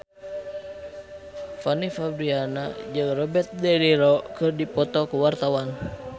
Fanny Fabriana jeung Robert de Niro keur dipoto ku wartawan